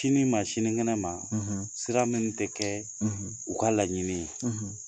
Sini ma sinikɛnɛ ma sira min tɛ kɛ u ka laɲini ye.